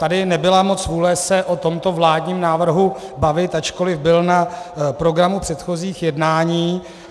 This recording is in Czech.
Tady nebyla moc vůle se o tomto vládním návrhu bavit, ačkoliv byl na programu předchozích jednání.